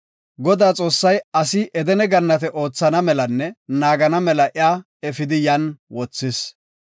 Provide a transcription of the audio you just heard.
Godaa Xoossay asi Edene Gannate oothana melanne naagana mela iya efidi yan wothis.